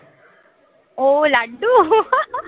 ও laddu